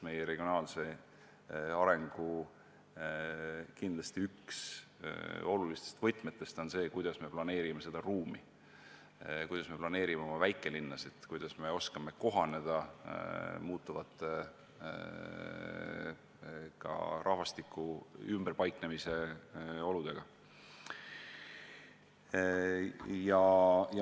Meie regionaalse arengu olulisi võtmeid on kindlasti see, kuidas me planeerime ümbritsevat ruumi, kuidas me planeerime oma väikelinnasid, kuidas me oskame kohaneda muutuvate rahvastiku ümberpaiknemisest tulenevate oludega.